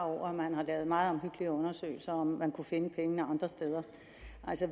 over at man har lavet meget omhyggelige undersøgelser af om man kunne finde pengene andre steder